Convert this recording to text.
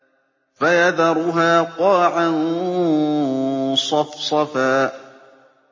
فَيَذَرُهَا قَاعًا صَفْصَفًا